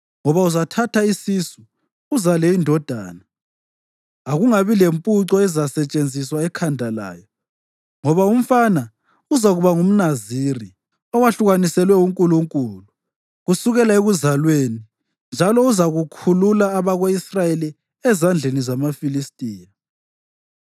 ngoba uzathatha isisu uzale indodana. Akungabi lempuco ezasetshenziswa ekhanda layo, ngoba umfana uzakuba ngumNaziri, owahlukaniselwe uNkulunkulu kusukela ekuzalweni, njalo uzakukhulula abako-Israyeli ezandleni zamaFilistiya.”